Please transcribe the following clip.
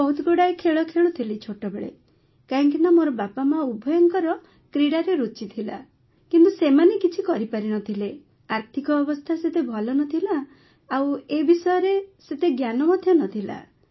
ମୁଁ ବହୁତ ଗୁଡ଼ାଏ ଖେଳ ଖେଳୁଥିଲି ଛୋଟବେଳେ କାହିଁକିନା ମୋର ବାପାମା ଉଭୟଙ୍କର କ୍ରୀଡ଼ାରେ ରୁଚି ଥିଲା କିନ୍ତୁ ସେମାନେ କିଛି କରିପାରିନଥିଲେ ଆର୍ଥିକ ଅବସ୍ଥା ସେତେ ଭଲ ନଥିଲା ଆଉ ଏ ବିଷୟରେ ସେତେ ଜ୍ଞାନ ମଧ୍ୟ ନଥିଲା